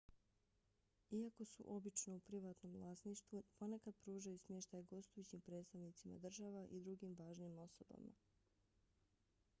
iako su obično u privatnom vlasništvu ponekad pružaju smještaj gostujućim predstavnicima država i drugim važnim osobama